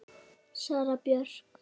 Sara Björk.